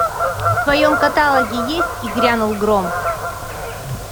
в твоем каталоге есть и грянул гром